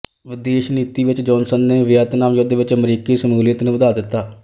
ਵਿਦੇਸ਼ ਨੀਤੀ ਵਿੱਚ ਜੌਹਨਸਨ ਨੇ ਵੀਅਤਨਾਮ ਯੁੱਧ ਵਿੱਚ ਅਮਰੀਕੀ ਸ਼ਮੂਲੀਅਤ ਨੂੰ ਵਧਾ ਦਿੱਤਾ